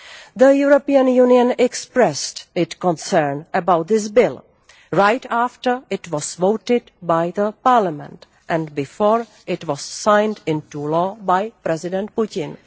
The European Union expressed its concern about this bill right after it was voted by the parliament, and before it was signed into law by President Putin.